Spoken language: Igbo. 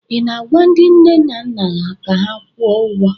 ị na-agwa ndị nne na nna ka ha kwụọ ụgwọ?